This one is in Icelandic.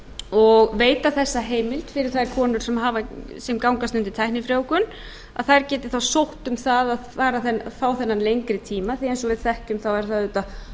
og veita þessa heimild fyrir þær konur sem gangast undir tæknifrjóvgun að þær geti þá sótt um það að fá þennan lengri tíma því eins og við þekkjum þá er það auðvitað